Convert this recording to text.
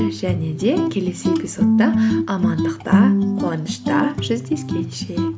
және де келесі эпизодта амандықта қуанышта жүздескенше